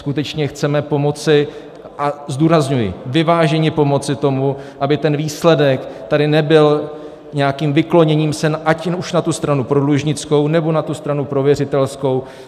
Skutečně chceme pomoci, a zdůrazňuji, vyváženě pomoci, tomu, aby ten výsledek tady nebyl nějakým vykloněním se ať už na tu stranu prodlužnickou, nebo na tu stranu prověřitelskou.